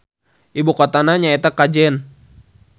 Ibukotana nyaeta Kajen.